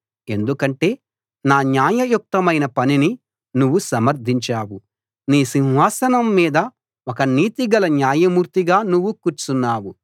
ఎందుకంటే నా న్యాయయుక్తమైన పనిని నువ్వు సమర్థించావు నీ సింహాసనం మీద ఒక నీతిగల న్యాయమూర్తిగా నువ్వు కూర్చున్నావు